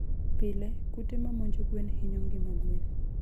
Pile, kute ma monjo gwen hinyo ngima gwen.